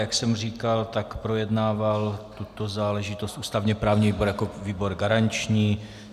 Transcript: Jak jsem říkal, tak projednával tuto záležitost ústavně-právní výbor jako výbor garanční.